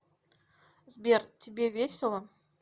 сбер тебе весело